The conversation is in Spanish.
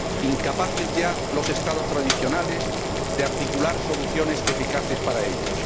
incapaces ya los Estados tradicionales de articular soluciones eficaces para ellos.